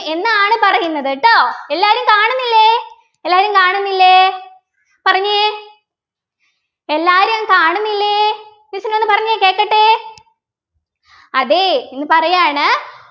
എന്നാണ് പറയുന്നത് ട്ടോ എല്ലാവരും കാണുന്നില്ലേ എല്ലാവരും കാണുന്നില്ലേ പറഞ്ഞെ എല്ലാരും കാണുന്നില്ലേ miss നോട് പറഞ്ഞെ കേക്കട്ടെ അതെ എന്ന് പറയാണ്